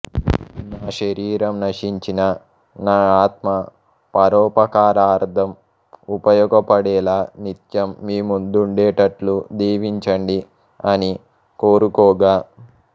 నా శరీరం నశించినా నా ఆత్మ పరోపకారార్ధం ఉపయోగపడేలా నిత్యం మీ ముందుండేటట్లు దీవించండి అని కోరుకోగా